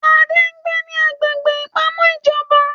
Adé ń gbé ní agbègbè ìpamọ́ ìjọba